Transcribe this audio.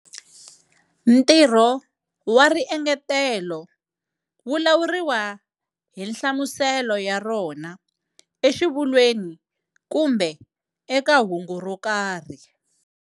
Ntirho wa riengetelo wu lawuriwa hi nhlamuselo ya rona exivulweni kumbe eka hungu ro karhi.